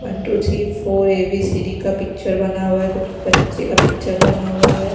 One two three four A B C D का picture बना हुआ है कुछ बच्चे का पिक्चर बना हुआ है।